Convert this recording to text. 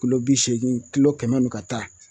Kolo bi seegin kilo kɛmɛ nuw ka taa